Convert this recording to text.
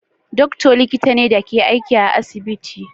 Doctor likita ne da ke aiki a asibiti